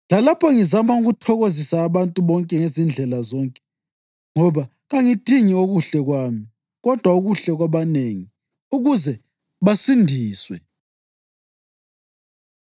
lalapho ngizama ukuthokozisa abantu bonke ngezindlela zonke. Ngoba kangidingi okuhle kwami, kodwa okuhle kwabanengi, ukuze basindiswe.